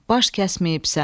Baş kəsməyibsən.